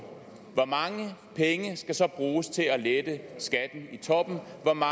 hvor mange penge skal så bruges til at lette skatten i toppen